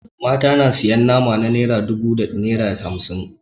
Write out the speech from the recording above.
Mata na sayan nama na naira dubu da naira hamsin.